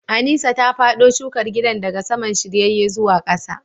Aneesa ta fado shukar gidan daga saman shiryayye zuwa kasa